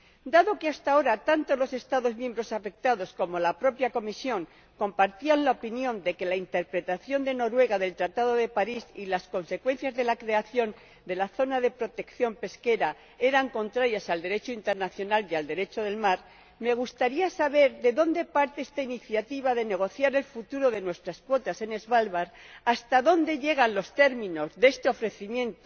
Dado que hasta ahora tanto los Estados miembros afectados como la propia Comisión compartían la opinión de que la interpretación de Noruega del Tratado de París y las consecuencias de la creación de la Zona de Protección Pesquera eran contrarias al Derecho internacional y al Derecho del mar, me gustaría saber de dónde parte esta iniciativa de negociar el futuro de nuestras cuotas en Svalbard, hasta dónde llegan los términos de este ofrecimiento,